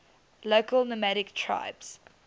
local nomadic tribes